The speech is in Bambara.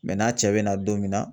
n'a cɛ be na don min na